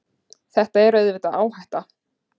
Þetta er auðvitað áhætta.